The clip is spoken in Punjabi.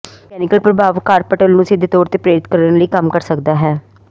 ਮਕੈਨੀਕਲ ਪ੍ਰਭਾਵ ਕਾਰਪਟਲ ਨੂੰ ਸਿੱਧੇ ਤੌਰ ਤੇ ਪ੍ਰੇਰਿਤ ਕਰਨ ਲਈ ਕੰਮ ਕਰ ਸਕਦਾ ਹੈ